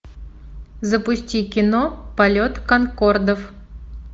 запусти кино полет конкордов